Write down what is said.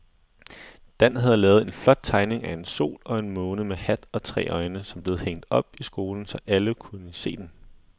Dan havde lavet en flot tegning af en sol og en måne med hat og tre øjne, som blev hængt op i skolen, så alle kunne se den.